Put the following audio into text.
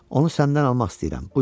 Onu səndən almaq istəyirəm.